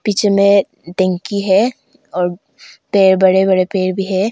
पीछे में टंकी है और पेड़ बड़े बड़े पेड़ भी हैं।